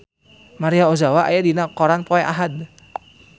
Maria Ozawa aya dina koran poe Ahad